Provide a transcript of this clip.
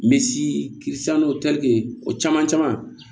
Misi o caman caman